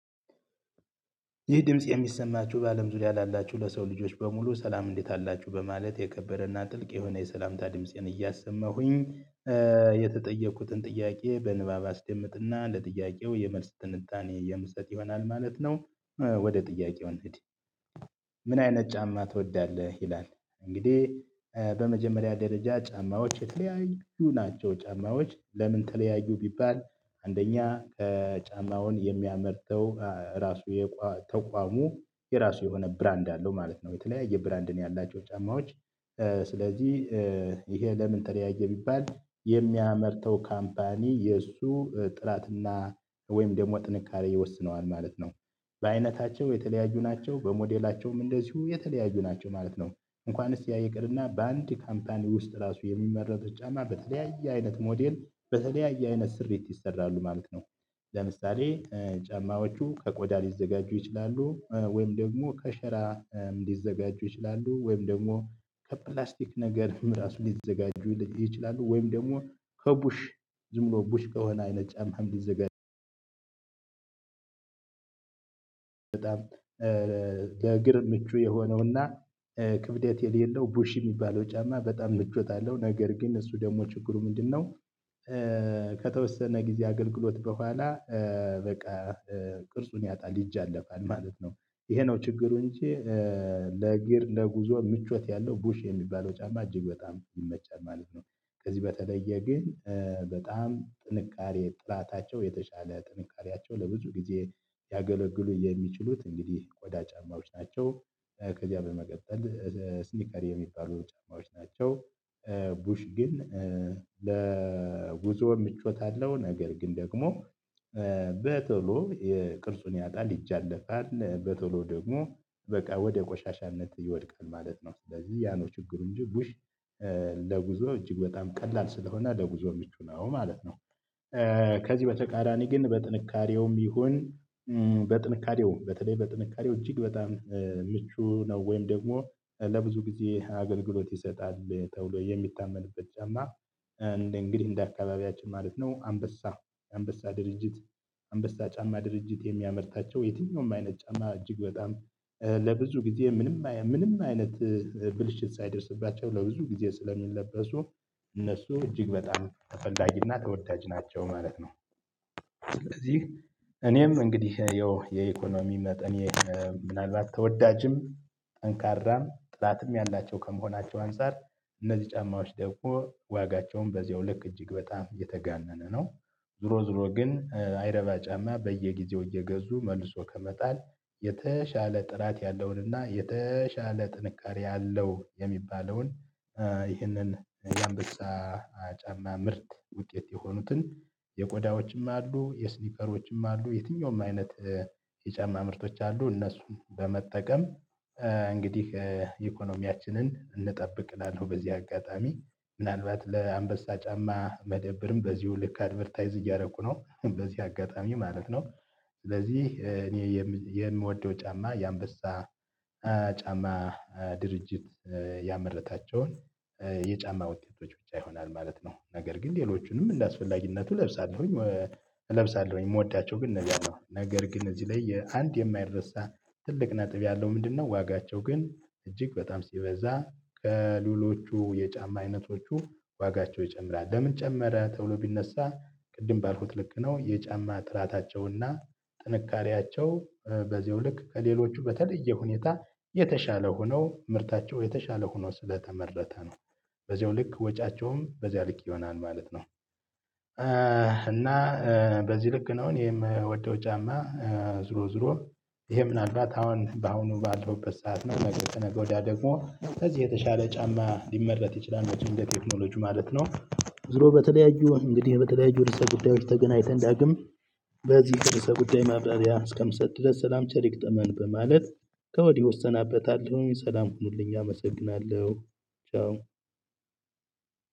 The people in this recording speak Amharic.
ይህ ድምጽ የሚሰማችሁ በአለም ዙሪያ ላላችሁ ለሰው ልጆች በሙሉ ሰላም እንዴት አላችሁ በማለት የከበረና ጥልቅ የሆነ የሰላምታ ድምፄን እያሰማሁኝ የተጠየቅኩትን ጥያቄ በንባብ አስደምጥና ለጥያቄው የመልስ ትንታኔ የምሰጥ ይሆናል ማለት ነው። ወደ ጥያቄው እንሂድ። ምን አይነት ጫማ ትወዳለህ ይላል? እንግዲህ በመጀመሪያ ደረጃ ጫማዎች የተለያዩ ናቸው ጫማዎች ለምን ተለያዩ ቢባል አንደኛ ጫማውን የሚያመርተው ራሱ የተቋሙ የራሱ የሆነ ብራንድ አለው ማለት ነው የተለያየ ብራንድን ያላቸው ጫማዎች። ስለዚህ ይሄ ለምን ተለያዬ ቢባል የሚያመርተው ካምፓኒ የእሱ ጥራትና ወይም ደግሞ ጥንካሬ ይወስነዋል ማለት ነው። በአይነታቸው የተለያዩ ናቸው በሞዴላቸውም እንደዚሁ የተለያዩ ናቸው ማለት ነው። እንኳንስ ያ ይቅርና በአንድ ካምፓኒ ውስጥ ራሱ የሚመረቱት ጫማ በተለያየ አይነት ሞዴል በተለያየ አይነት ስሪት ይሰራሉ ማለት ነው። ለምሳሌ ጫማዎቹ ከቆዳ ሊዘጋጁ ይችላሉ ወይም ደግሞ ከሸራ ሊዘጋጁ ይችላሉ ወይም ደግሞ ከፕላስቲክ ነገር ራሱ ሊዘጋጁ ይችላሉ ወይም ደግሞ ከቡሽ ዝም ቡሽ ከሆነ አይነት ጫማም ሊዘጋጁ። በጣም ለእግር ምቹ የሆነውና ክብደት የሌለው ቡሽ የሚባለው ጫማ በጣም ምቾት አለው ነገር ግን እሱ ደግሞ ችግሩ ምንድነው? ከተወሰነ ጊዜ አገልግሎት በኋላ በቃ ቅርጹን ያጣል ይዛነፋል ማለት ነው። ይሄ ነው ችግሩ እንጂ። ለእግር ለጉዞ ምቾት ያለው ቡሽ የሚባለው ጫማ እጅግ በጣም ይመቻል ማለት ነው። ከዚህ በተለየ ግን በጣም ጥንቃቄ ጥራታቸው የተሻለ ጥንካሬያቸው ለብዙ ጊዜ ያገለግሉ የሚችሉት እንግዲህ ቆዳ ጫማዎች ናቸው። ከዚያ በመቀጠል ስኒከር የሚባሉ ጫማዎች ናቸው። ቡሽ ግን ለጉዞ ምቾት አለው ነገር ግን ደግሞ በቶሎ የቅርጹን ያጣል ይጃለፋል በቶሎ ደግሞ በቃ ወደ ቆሻሻነት ይወድቃል ማለት ነው። ስለዚህ ያ ነው ችግሩ እንጂ ቡሽ ለጉዞ እጅግ በጣም ቀላል ስለሆነ ለጉዞ ምቹ ነው ማለት ነው። ከዚህ በተቃራኒ ግን በጥንካሬውም ይሁን በጥንካሬውም በተለይ በጥንካሬው እጅግ በጣም ምቹ ነው ወይም ደግሞ ለብዙ ጊዜ አገልግሎት ይሰጣል ተብሎ የሚታመንበት ጫማ። እንግዲህ እንደ አካባቢያችን ማለት ነው አንበሳ አንበሳ ድርጅት አንበሳ ጫማ ድርጅት የሚያመርታቸው የትኛውም አይነት ጫማ እጅግ በጣም ለብዙ ጊዜ ምንም ምንም አይነት ብልሽት ሳይደርስባቸው ለብዙ ጊዜ ስለሚለበሱ እነሱ እጅግ በጣም ተፈላጊና ተወዳጅ ናቸው ማለት ነው። እኔም እንግዲህ ያው የኢኮኖሚ መጠን እኔ ምናልባት ተወዳጅም ጠንካራም ጥራትም ያላቸው ከመሆናቸው አንፃር እነዚህ ጫማዎች ደግሞ ዋጋቸውም በዚያው ልክ እጅግ በጣም የተጋነነ ነው። ዞሮ ዞሮ ግን አይረባ ጫማ በየጊዜው እየገዙ መልሶ ከመጣል የተሻለ ጥራት ያለውንና የተሻለ ጥንካሬ ያለው የሚባለውን። የአንበሳ ጫማ ምርት ውጤት የሆኑትን የቆዳዎችም አሉ የስኒከሮችም አሉ የትኛውም አይነት የጫማ ምርቶች አሉ እነሱን በመጠቀም እንግዲህ ኢኮኖሚያችንን እንጠብቅ እላለሁ። በዚህ አጋጣሚ ምናልባት ለአንበሳ ጫማ መደብርም በዚሁ ልክ አድቨርታይዝ እያደረኩ ነው በዚህ አጋጣሚ ማለት ነው። ስለዚህ እኔ የምወደው ጫማ የአንበሳ ጫማ ድርጅት ያመረታቸውን የጫማ ውጤቶች ብቻ ይሆናል ማለት ነው። ነገር ግን ሌሎቹንም እንደአስፈላጊነቱ እለብሳለሁኝ። እለብሳለሁኝ የምወዳቸው ግን ነገር ግን እዚህ ላይ የአንድ የማይደርሳ ትልቅ ነጥብ ያለው ምንድነው? ዋጋቸው ግን እጅግ በጣም ሲበዛ ከሉሎቹ የጫማ አይነቶቹ ዋጋቸው ይጨምራል ለምን ጨመረ ተብሎ ቢነሳ ቅድም ባልኩት ልክ ነው የጫማ ጥራታቸውና ጥንካሬያቸው በዝያው ልክ ከሌሎቹ በተለየ ሁኔታ የተሻለ ሆነው ምርታቸው የተሻለ ሆነው ስለተመረተ ነው። በዚሁ ልክ ወጪያቸውም በዚህ ልክ ይሆናል ማለት ነው። እና በዚህ ልክ ነው እኔ ምወደው ጫማ ዞሮ ዞሮ ይሄ ምናልባት አሁን በአሁኑ ባለውበት ሰዓት ነው ነገ ከነገ ወዲያ ደግሞ ከዚህ የተሻለ ጫማ ሊመረት ይችላል መቼም በቴክኖሎጂው ማለት ነው። ዞሮ በተለያዩ እንግዲህ በተለያዩ ርዕሰ ጉዳዮች ተገናኝተን ዳግም በዚህ ርዕሰ ጉዳይ ማብራሪያ እስከምሰጥ ድረስ ሰላም ቸር ይግጠመን በማለት ከወዲሁ እሰናበታለሁኝ ሰላም ሁኑልኝ አመሰግናለሁ ቻው።